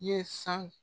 Ye san